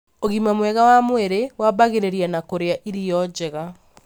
Ũgima mwega wa mwĩrĩ wambagĩrĩria na kũrĩa irio njega.